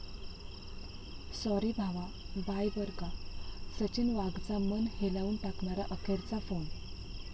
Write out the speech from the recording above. Sorry भावा, bye बरं का...',सचिन वाघचा मन हेलावून टाकणारा अखेरचा फोन!